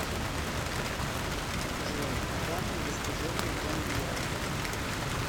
джой главное достижение джангирова